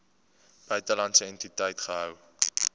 buitelandse entiteit gehou